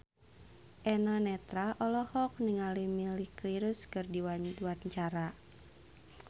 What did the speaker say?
Eno Netral olohok ningali Miley Cyrus keur diwawancara